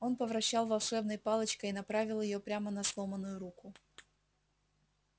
он повращал волшебной палочкой и направил её прямо на сломанную руку